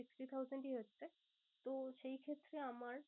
Sixty thousand ই হচ্ছে। তো সেই ক্ষেত্রে আমার